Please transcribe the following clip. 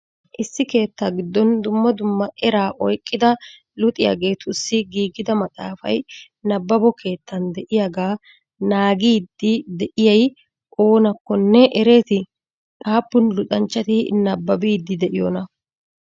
Issi keettaa giddon dummaa dummaa eraa oyqidaa luxiyaagetussi giiggida maxaafay nabbabo keettan de'iyagaa naaggiyddi de'iyay oonakkonne ereeti? Appun luxaanchchati nabbaabiiydi de'iyonaa?